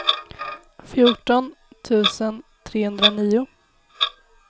fjorton tusen trehundranio